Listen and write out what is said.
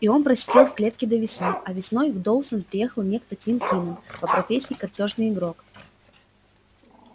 и он просидел в клетке до весны а весной в доусон приехал некто тим кинен по профессии картёжный игрок